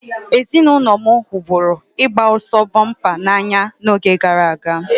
Ezinụlọ m hụburu ịgba ọsọ bọmpa n'anya n'oge gara aga